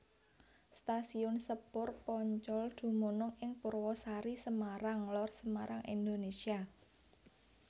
Stasiun sepur Poncol dumunung ing Purwasari Semarang Lor Semarang Indonésia